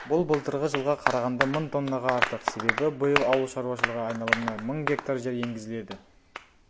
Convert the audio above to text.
бұл былтырғы жылға қарағанда мың тоннаға артық себебі биыл ауыл шаруашылығы айналымына мың гектар жер енгізіледі